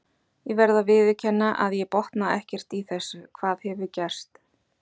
Ég verð að viðurkenna að ég botna ekkert í þessu, hvað hefur gerst?